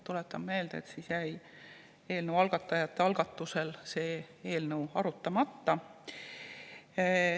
Tuletan meelde, et siis jäi algatajate algatusel see eelnõu arutamata.